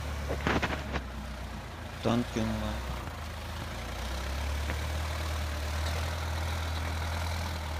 танки онлайн